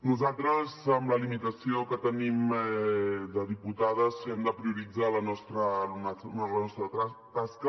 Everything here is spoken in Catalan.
nosaltres amb la limitació que tenim de diputades hem de prioritzar la nostra tasca